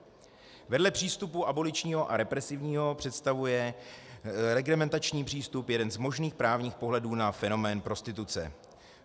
Vedle přístupu aboličního a represivního představuje reglementační přístup jeden z možných právních pohledů na fenomén prostituce.